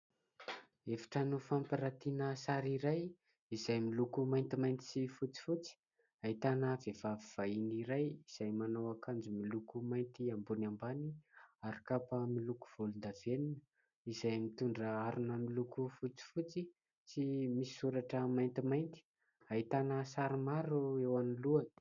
Efitrano fampiratiana sary iray izay miloko maintimainty sy fotsifotsy, ahitana vehivavy vahiny iray izay manao akanjo miloko mainty ambony ambany ary kapa miloko volondavenona, izay mitondra harona miloko fotsifotsy sy misy soratra maintimainty. Ahitana sary maro eo anoloany.